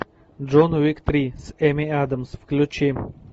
джон уик три с эми адамс включи